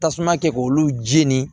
Tasuma kɛ k'olu jeni